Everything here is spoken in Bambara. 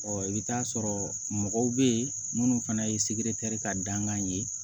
i bɛ t'a sɔrɔ mɔgɔw bɛ yen minnu fana ye ka dankan ye